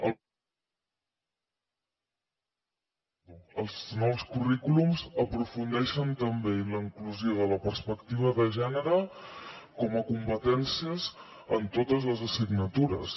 els nous currículums aprofundeixen també en la inclusió de la perspectiva de gènere com a competències en totes les assignatures